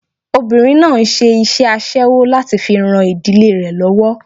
Obinrin náà ń ṣe iṣẹ́ aṣẹ́wó láti fi ran ìdílé rẹ lọ́wọ́.